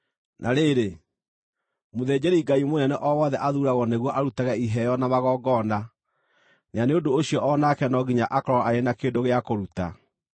Na rĩrĩ, mũthĩnjĩri-Ngai mũnene o wothe aathuuragwo nĩguo arutage iheo na magongona, na nĩ ũndũ ũcio o nake no nginya akorwo arĩ na kĩndũ gĩa kũruta.